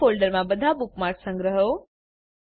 નવાં ફોલ્ડરમાં બધા બુકમાર્ક્સ સંગ્રહો